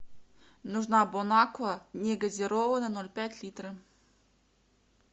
нужна бон аква негазированная ноль пять литра